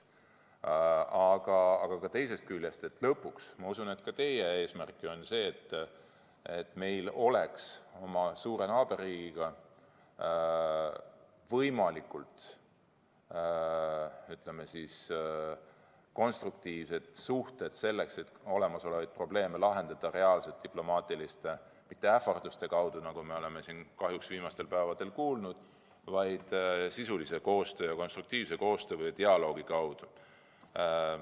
Aga teisest küljest, lõpuks ma usun, et ka teie eesmärk on see, et meil oleks oma suure naaberriigiga võimalikult konstruktiivsed suhted, et olemasolevaid probleeme lahendada diplomaatiliselt – mitte ähvarduste kaudu, nagu me oleme siin kahjuks viimastel päevadel kuulnud, vaid sisulise ja konstruktiivse koostöö ning dialoogi kaudu.